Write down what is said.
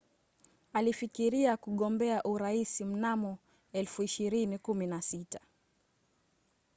alifikiria kugombea urais mnamo 2016